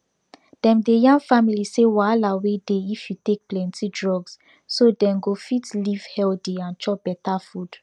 dem dey yarn families say wahala wey dey if you take plenty drugs so dem go fit live healthy and chop better food